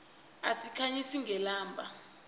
sikhanyisa ngelamba